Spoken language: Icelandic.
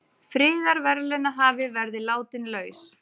Friðarverðlaunahafi verði látinn laus